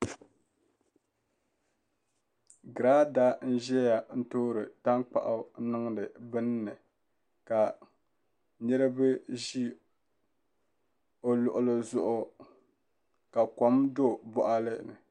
Grada n zeya toori tankpaɣu n niŋdi bin'ni ka niriba zi o luɣili zuɣu ka kom do' boɣali ni